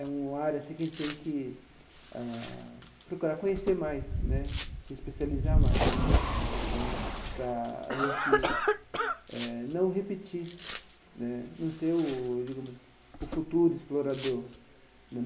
É uma área assim que a gente tem que ah procurar conhecer mais né, se especializar mais né, para a gente eh não repetir né, não ser o, digamos, o futuro explorador.